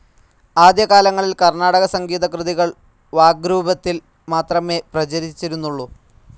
ആദ്യകാലങ്ങളിൽ കർണാടക സംഗീതകൃതികൾ വാഗ്രൂപത്തിൽ മാത്രമേ പ്രചരിചിരുന്നുള്ളൂ..